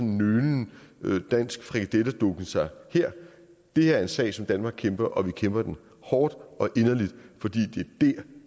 en nølende dansk frikadelle dukken sig her det her er en sag som danmark kæmper og vi kæmper den hårdt og inderligt fordi det